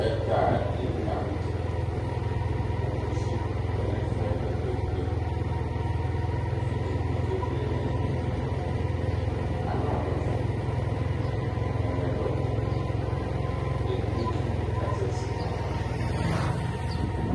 Ɛtaɣa dɩ li la nʋ tɛ Kokosi kɔ nʋ ɛfʋ yɛ kpe-kpe-kpe Evidze dɩnɩ kebuele nʋ ayili Anadʋ afʋkpa, atanɩ adʋ atakpui Edigbo eki udu kasɛsɛ yaba